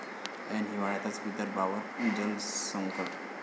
ऐन हिवाळ्यातच विदर्भावर जलसंकट!